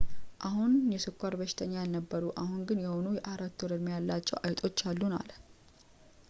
"አሁን የስኳር በሽተኛ ያልነበሩ አሁን ግን የሆኑ የ4-ወር-ዕድሜ ያላቸው አይጦች አሉን፣ አለ።